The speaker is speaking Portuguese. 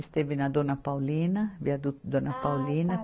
Esteve na Dona Paulina, viaduto Dona Paulina. Ah, tá